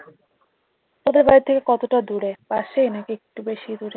তোদের বাড়ি থেকে কতটা দূরে পাশেই নাকি একটু বেশি দূরে?